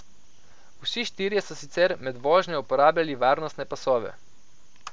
Vsi štirje so sicer med vožnjo uporabljali varnostne pasove.